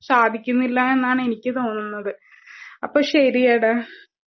സാധിക്കുന്നില്ലാ എന്നാണെനിക്ക് തോന്നുന്നത്. അപ്പൊ ശരിയെടാ.